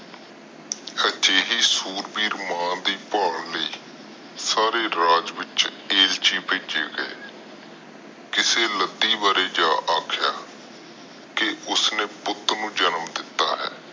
ਅਜਿਹੀ ਸੁਰਮਈ ਮਾਂ ਦੀ ਭੱਲ ਲਾਇ ਸਾਰੇ ਰਾਜ ਵਿਚ ਜਜਿ ਬਿਜਰ ਗਏ ਕਿਸੇ ਲਾਡੀ ਬਾਰੇ ਜਾ ਆਖਿਆ ਉਸ ਨੇ ਪੁੱਟ ਨੂੰ ਜਨਮ ਦਿਤਾ ਹੈ